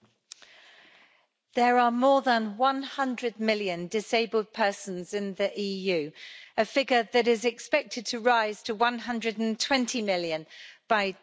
Mr President, there are more than 100 million disabled persons in the EU, a figure that is expected to rise to 120 million by